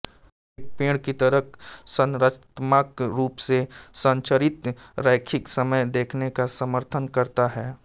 एक पेड़ की तरह संरचनात्मक रूप से संरचित रैखिक समय देखने का समर्थन करता है